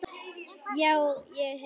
Já, ég hef það.